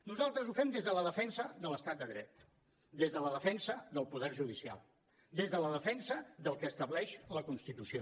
nosaltres ho fem des de la defensa de l’estat de dret des de la defensa del poder judicial des de la defensa del que estableix la constitució